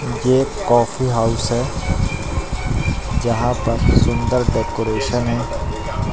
ये एक coffee house है जहां पर सुंदर डेकोरेशन --